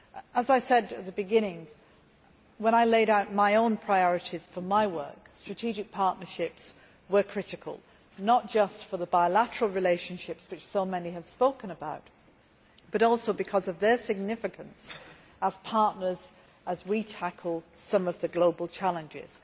As I said at the beginning, when I laid out my own priorities for my work, strategic partnerships were critical not just for the bilateral relationships which so many have spoken about, but also because of their significance as partners as we tackle some of the global challenges.